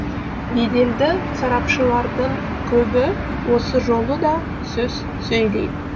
беделді сарапшылардың көбі осы жолы да сөз сөйлейді